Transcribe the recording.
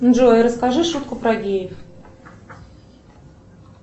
джой расскажи шутку про геев